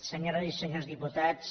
senyores i senyors diputats